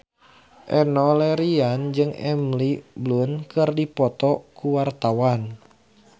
Enno Lerian jeung Emily Blunt keur dipoto ku wartawan